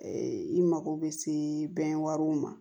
i mago bɛ se bɛn wari ma